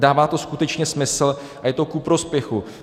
Dává to skutečně smysl a je to ku prospěchu.